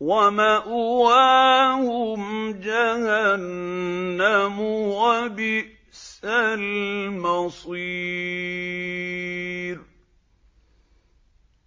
وَمَأْوَاهُمْ جَهَنَّمُ ۖ وَبِئْسَ الْمَصِيرُ